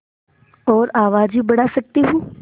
और आवाज़ भी बढ़ा सकती हूँ